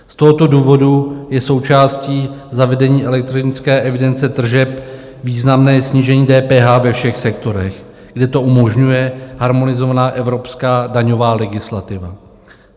Z tohoto důvodu je součástí zavedení elektronické evidence tržeb významné snížení DPH ve všech sektorech, kde to umožňuje harmonizovaná evropská daňová legislativa.